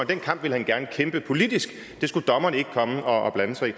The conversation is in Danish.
den kamp ville han gerne kæmpe politisk det skulle dommerne ikke komme og blande sig i